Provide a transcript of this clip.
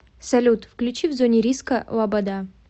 салют включи в зоне риска лобода